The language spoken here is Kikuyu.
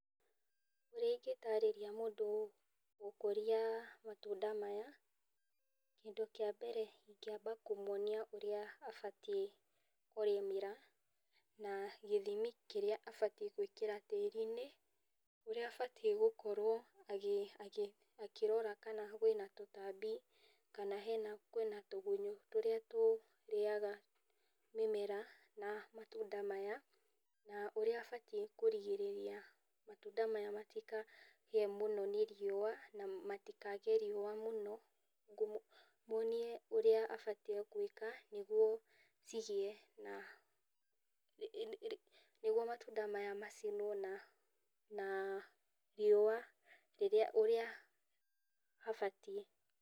Ũrĩa ingĩtarĩria mũndũ gũkũria matunda maya, kĩndũ kĩa mbere ingĩamba kũmwonia ũrĩa abatiĩ kũrĩmĩra, na gĩthimi kĩrĩa abatiĩ gũikĩra tĩri-inĩ, ũrĩa abatiĩ gũkorwo agĩ agĩ akĩrora kana kwĩna tũtabi kana hena twĩna tũgunyo tũrĩa tũrĩaga mĩmera, na matunda maya , na ũrĩa abatiĩ kũrigĩrĩria matunda maya matikahie mũno nĩ riua na matikahie riua mũno ,ngũmũ mwonie ũrĩa abatiĩ gũĩka nguo cigĩe na nĩguo matunda maya macinwo na na rĩua ũrĩa mabatiĩ.